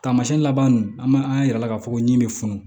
Taamasiyɛn laban ninnu an b'a an y'a yirala k'a fɔ ko nin bɛ funu